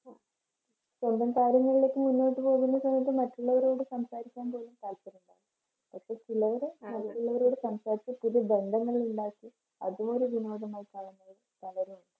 സ്വന്തം കാര്യങ്ങളുമായി മുന്നോട്ടുപോകുന്ന സമയത്ത് മറ്റുള്ളവരുമായിട്ട് സംസാരിക്കാൻ പോലും താൽപര്യമില്ല പക്ഷേ സംസാരിച്ചു പുതിയ ബന്ധങ്ങൾ ഉണ്ടാക്കി. അതും ഒരു വിനോദമായി കാണുന്ന സാഹചര്യം